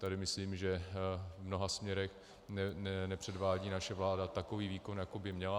Tady myslím, že v mnoha směrech nepředvádí naše vláda takový výkon, jaký by měla.